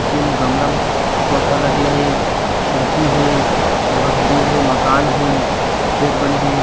पीछे में गमला पौधा लगे हे खिड़की हे बहुत ग्रिल हे मकान हे पेड़ बने हे।